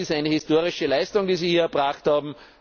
Das ist eine historische Leistung, die Sie hier erbracht